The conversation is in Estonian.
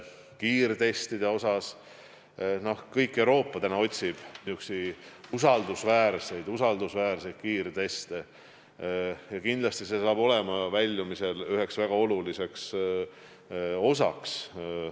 Kogu Euroopa otsib praegu usaldusväärseid kiirteste ja sellest saab kindlasti väljumise väga oluline osa.